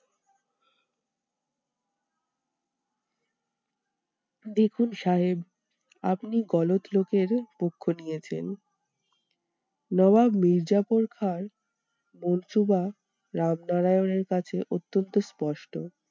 দেখুন সাহেব আপনি লোকের পক্ষ নিয়েছেন। নবাব মীরজাফর খাঁ র রামনারায়ানের কাছে অতন্ত্য স্পষ্ট।